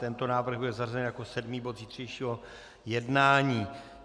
Tento návrh byl zařazen jako sedmý bod zítřejšího jednání.